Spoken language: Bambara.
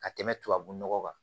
Ka tɛmɛ tubabu nɔgɔ kan